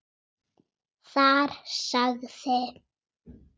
Þar sagði